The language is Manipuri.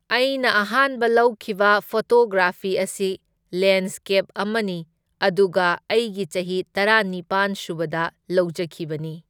ꯑꯩꯅ ꯑꯍꯥꯟꯕ ꯂꯧꯈꯤꯕ ꯐꯣꯇꯣꯒ꯭ꯔꯥꯐꯤ ꯑꯁꯤ ꯂꯦꯟꯁꯀꯦꯞ ꯑꯃꯅꯤ ꯑꯗꯨꯒ ꯑꯩꯒꯤ ꯆꯍꯤ ꯇꯔꯥꯅꯤꯄꯥꯟ ꯁꯨꯕꯗ ꯂꯧꯖꯈꯤꯕꯅꯤ꯫